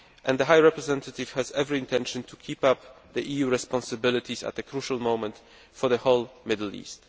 The High Representative has every intention of upholding the EU's responsibilities at this crucial moment for the whole Middle East.